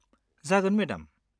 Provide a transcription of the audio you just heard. जागोन मेडाम।